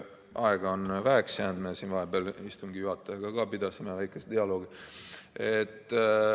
Aega on väheks jäänud, me siin vahepeal istungi juhatajaga ka pidasime väikese dialoogi.